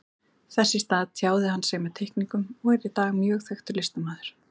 Þess í stað tjáði hann sig með teikningum og er í dag mjög þekktur listamaður.